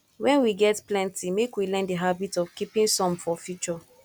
when we get plenty make we learn di habit of keeping some for future